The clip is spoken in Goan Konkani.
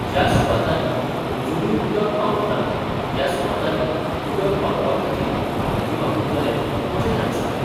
ज्या सुवातानी अजूनूय उदक पावंक ना त्या सुवातानी उदक पावोवपाखातीर हो निधी वापरतले अशे ताणी सांगले.